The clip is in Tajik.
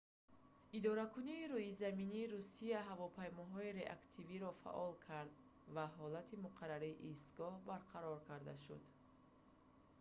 идоракунии рӯизаминии русия ҳавопаймоҳои реактивиро фаъол кард ва ҳолати муқаррарии истгоҳ барқарор карда шуд